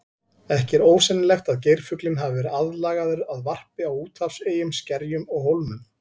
Ekki er ósennilegt að geirfuglinn hafi verið aðlagaður að varpi á úthafseyjum, skerjum og hólmum.